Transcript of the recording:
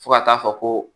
Fo ka taa fɔ ko